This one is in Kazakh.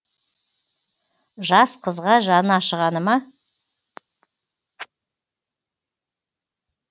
жас қызға жаны ашығаны ма